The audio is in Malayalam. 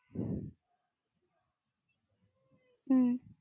ഹും